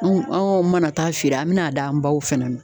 Anw anw kɔni mana taa feere an mina d'an baw fɛnɛ ma